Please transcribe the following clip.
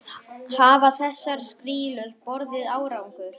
Hafa þessar skýrslur borið árangur?